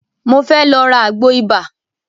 Mo fẹ́ lọ ra àgbò ibà.